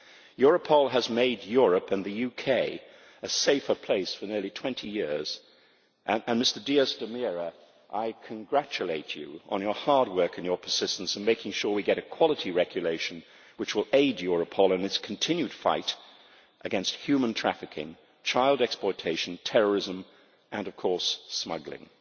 Europol has made Europe and the UK a safer place for nearly 20 years, and, Mr Díaz de Mera García Consuegra, I congratulate you on your hard work and your persistence in making sure we get a quality regulation which will aid Europol in its continued fight against human trafficking, child exploitation, terrorism and, of course, smuggling.